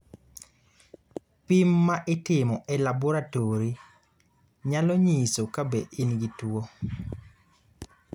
pim ma itimo e laboratori nyalo nyiso ka be in gi tuo